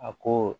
A ko